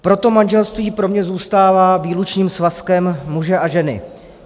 Proto manželství pro mě zůstává výlučným svazkem muže a ženy.